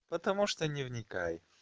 потому что не вникай